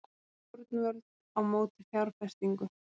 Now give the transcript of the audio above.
Stjórnvöld á móti fjárfestingu